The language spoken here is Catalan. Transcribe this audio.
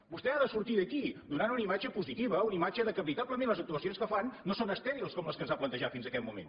vostè ha de sortir d’aquí donant una imatge positiva una imatge que veritablement les actuacions que fan no són estèrils com les que ens ha plantejat fins aquest moment